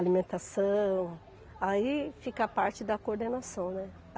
alimentação, aí fica a parte da coordenação, né?